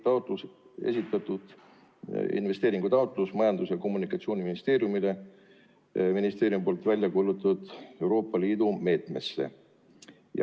Juulis esitati investeeringutaotlus Majandus- ja Kommunikatsiooniministeeriumile ministeeriumi välja kuulutatud Euroopa Liidu meetmest.